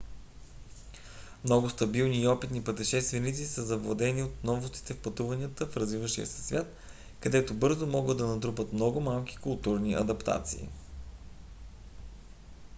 много стабилни и опитни пътешественици са завладени от новостите в пътуванията в развиващия се свят където бързо могат да се натрупат много малки културни адаптации